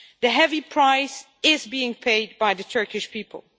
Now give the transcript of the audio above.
A heavy price is being paid by the Turkish people.